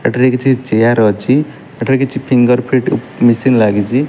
ଏଠାରେ କିଛି ଚେୟାର ଅଛି ଏଠାରେ କିଛି ଫିଙ୍ଗର ପ୍ରିଟ୍ ମେସିନ୍ ଲାଗିଚି।